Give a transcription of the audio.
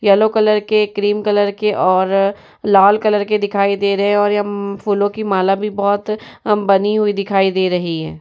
Yellow colour के cream colour के और लाल कलर के दिखाई दे रहे हैं और यम फूलों की माला भी बोहोत अ बनी हुई दिखाई दे रही है।